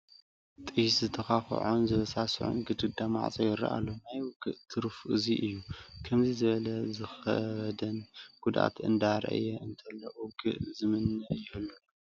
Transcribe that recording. ጥይት ዝተዃቶኾን ዝበስዖን ግድግዳን ማዕሾን ይርአ ኣሎ፡፡ ናይ ውግእ ትርፉ እዚ እዩ፡፡ ከምዚ ንዝበለን ንዝኸበደን ጉድኣት እንዳርአየ እንተሎ ውግእ ዝምነ ይህሉ ዶ?